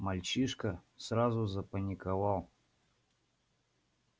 мальчишка сразу запаниковал